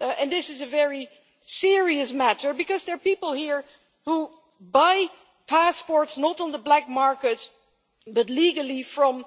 And this is a very serious matter because there are people here who buy passports, not on the black market but legally from